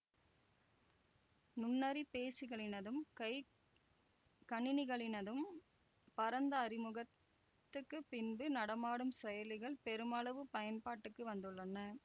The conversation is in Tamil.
நுண்ணறி பேசிகளினதும் கை கணினிகளினது பரந்த அறிமுகத்துக்குப் பின்பு நடமாடும் செயலிகள் பெருமளவும் பயன்பாட்டுக்கு வந்துள்ளன